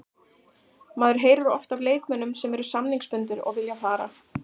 Maður heyrir oft af leikmönnum sem eru samningsbundnir og vilja fara.